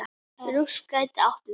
Rúst gæti átt við